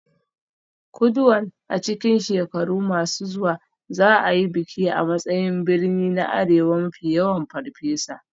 Kuduan a cikin shekaru masu zuwa za a yi bikin a matsayin birni na arewa mafi yawan Farfesa.